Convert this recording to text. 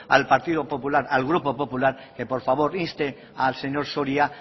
al partido popular el grupo popular que por favor inste al señor soria